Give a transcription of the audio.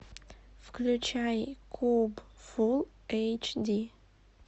включай куб фулл эйч ди